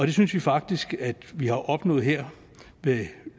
det synes vi faktisk at vi har opnået her med